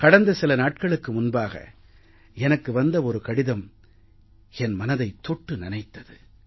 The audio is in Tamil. கடந்த சில நாட்களுக்கு முன்பாக எனக்கு வந்த ஒரு கடிதம் என் மனதைத் தொட்டு நனைத்தது